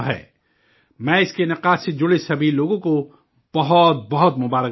میں اس کے انعقاد سے جڑے سبھی لوگوں کو بہت بہت مبارکباد دیتا ہوں